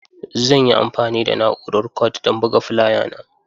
Zan yi amfani da na'urar Kord don buga fulaya na.